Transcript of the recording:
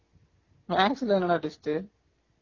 maths ல என்னடா test